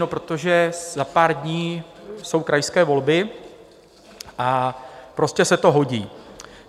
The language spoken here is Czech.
No protože za pár dní jsou krajské volby, a prostě se to hodí.